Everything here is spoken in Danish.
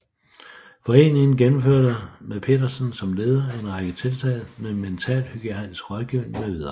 Foreningen gennemførte med Petersen som leder en række tiltag med mentalhygiejnisk rådgivning med videre